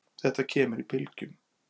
Þetta kemur í bylgjum.